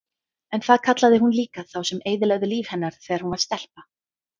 En það kallaði hún líka þá sem eyðilögðu líf hennar þegar hún var stelpa.